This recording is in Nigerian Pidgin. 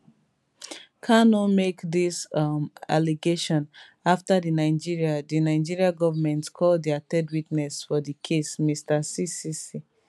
kanu make dis um allegation afta di nigeria di nigeria goment call dia third witness for di case mr ccc